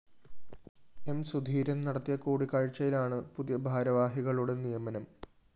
M Sudheeran‍ നടത്തിയ കൂടിക്കാഴ്ചയിലാണ് പുതിയ ഭാരവാഹികളുടെ നിയമനം